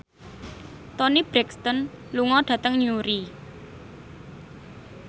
Toni Brexton lunga dhateng Newry